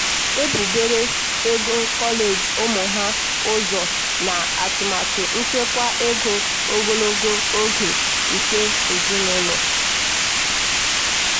mgbe ewerechara nhọrọ kredit na-agwụ ike ọ tụgharịrị gaa na akaụntụ nchekwa nke ya dị ka isi iyi mbinye ego mberede.